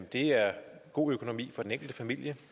det er god økonomi for den enkelte familie